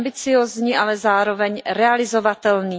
Je ambiciózní, ale zároveň realizovatelný.